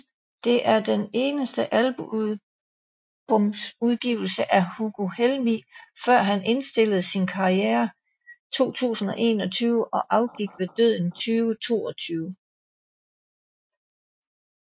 Det er den eneste albumudgivelse af Hugo Helmig før han indstillede sin karriere 2021 og afgik ved døden i 2022